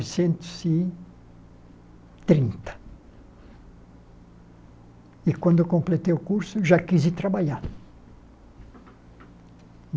e trinta e, quando completei o curso, já quis ir trabalhar.